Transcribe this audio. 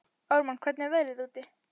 Ármann, hvernig er veðrið úti?